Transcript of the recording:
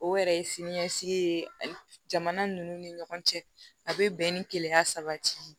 O yɛrɛ ye sini ɲɛsigi ye jamana ninnu ni ɲɔgɔn cɛ a bɛ bɛn ni kelenya sabati ye